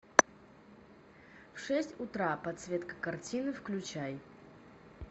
в шесть утра подсветка картины включай